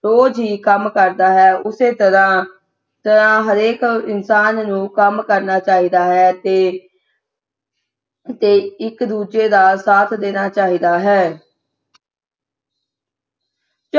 ਰੋਜ ਹੀ ਕੰਮ ਕਰਦਾ ਹੈ ਉਸੇ ਤਰ੍ਹਾਂ ਤਤਰ੍ਹਾਂ ਹਰੇਕ ਇਨਸਾਨ ਨੂੰ ਕੰਮ ਕਰਨਾ ਚਾਹੀਦਾ ਹੈ ਤੇ ਤੇ ਇਕ ਦੂਜੇ ਦਾ ਸਾਥ ਦੇਣਾ ਚਾਹੀਦਾ ਹੈ